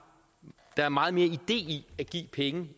er meget mere idé i at give pengene